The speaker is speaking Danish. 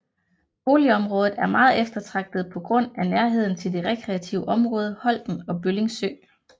Boligområdet er meget eftertragtet på grund af nærheden til det rekreative område Holten og Bølling Sø